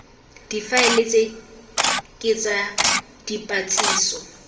difaele tse ke tsa dipotsiso